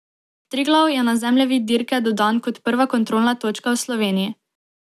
Triglav je na zemljevid dirke dodan kot prva kontrolna točka v Sloveniji.